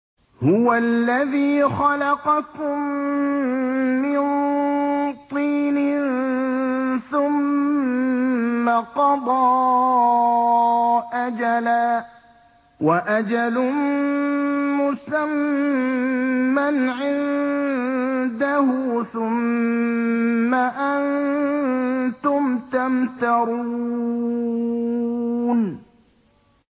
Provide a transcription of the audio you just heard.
هُوَ الَّذِي خَلَقَكُم مِّن طِينٍ ثُمَّ قَضَىٰ أَجَلًا ۖ وَأَجَلٌ مُّسَمًّى عِندَهُ ۖ ثُمَّ أَنتُمْ تَمْتَرُونَ